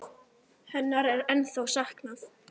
Hennar er ennþá saknað.